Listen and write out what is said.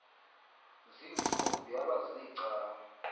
ziintsuku yaba ziicawa